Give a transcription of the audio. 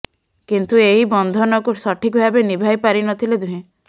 କିନ୍ତୁ ଏହି ବନ୍ଧନକୁ ସଠିକ ଭାବେ ନିଭାଇ ପାରିନଥିଲେ ଦୁହେଁ